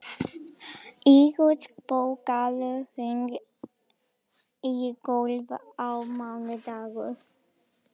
Eyrós, bókaðu hring í golf á mánudaginn.